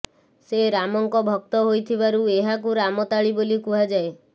ସେ ରାମଙ୍କ ଭକ୍ତ ହୋଇଥିବାରୁ ଏହାକୁ ରାମତାଳି ବୋଲି କୁହାଯାଏ